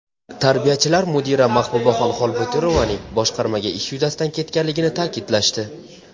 Tarbiyachilar mudira Mahbubaxon Xolbotirovaning boshqarmaga ish yuzasidan ketganligini ta’kidlashdi.